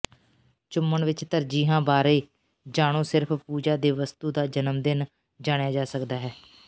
ਚੁੰਮਣ ਵਿੱਚ ਤਰਜੀਹਾਂ ਬਾਰੇ ਜਾਣੋ ਸਿਰਫ ਪੂਜਾ ਦੇ ਵਸਤੂ ਦਾ ਜਨਮਦਿਨ ਜਾਣਿਆ ਜਾ ਸਕਦਾ ਹੈ